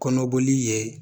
Kɔnɔboli ye